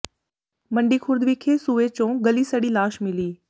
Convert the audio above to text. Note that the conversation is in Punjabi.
ਮੰਡੀ ਖੁਰਦ ਵਿਖੇ ਸੂਏ ਚੋਂ ਗਲੀ ਸੜੀ ਲਾਸ਼ ਮਿਲੀ